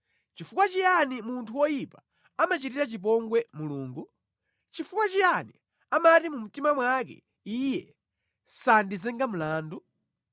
Nʼchifukwa chiyani munthu woyipa amachitira chipongwe Mulungu? Chifukwa chiyani amati mu mtima mwake, “Iye sandiyimba mlandu?”